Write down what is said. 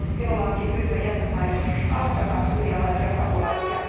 Minulla onkin pyyntö jäsenvaltioille auttakaa syyrialaisia pakolaisia.